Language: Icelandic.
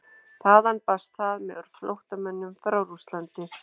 þaðan barst það með flóttamönnum frá rússlandi